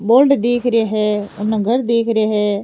Board दीख रे है उनने घर दीख रे है।